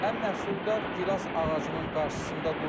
Ən məhsuldar gilas ağacının qarşısında durmuşam.